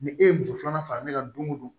Ni e ye muso filanan fara ne kan don o don